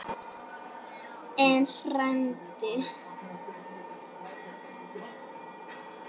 En, frændi